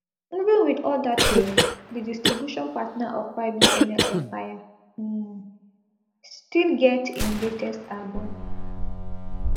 even wit all dat tori di distribution partner of ybnl empire um still get im latest album